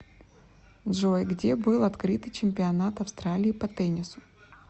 джой где был открытый чемпионат австралии по теннису